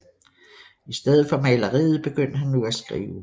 I stedet for maleriet begyndte han nu at skrive